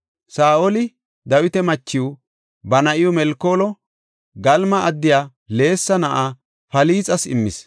Saa7oli Dawita machiw, ba na7iw Melkoolo Galima addiya Leesa na7aa Falxas immis.